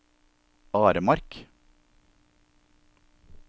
Aremark